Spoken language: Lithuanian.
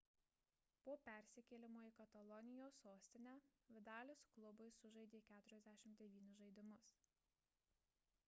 po persikėlimo į katalonijos sostinę vidalis klubui sužaidė 49 žaidimus